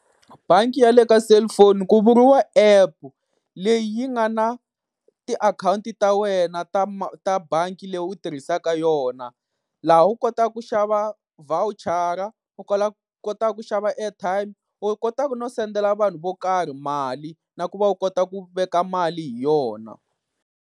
Bangi ya le ka cellphone ku vuriwa app leyi yi nga na tiakhawunti ta wena ta ta bangi leyi u tirhisaka yona. Laha u kotaka ku xava vhawuchara u kotaka ku xava airtime, u kotaku no sendela vanhu vo karhi mali, na ku va u kota ku veka mali hi yona.